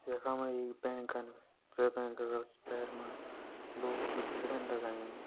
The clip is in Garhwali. यखमा यी बैंकन जे बैंक का भैर मा लोगों की भीड़ न लगायीं।